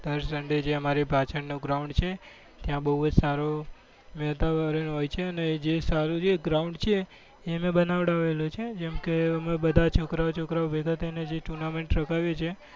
દર sunday અમારે પાછળનું ground છે ત્યાં બહુ જ સારો વાતાવરણ હોય છે અને જે સારું ground છે એ અમે બનાવેલું છે જેમ કે અમે બધા છોકરાઓ છોકરાઓ ભેગા થઈને જે tournament રખાવીએ છીએ.